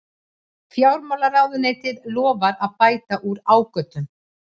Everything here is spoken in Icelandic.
Fjármálaráðuneytið lofar að bæta úr ágöllum